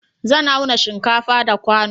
Zan auna shinkafa da kwano